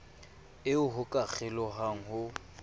eo ho ka kgelohwang ho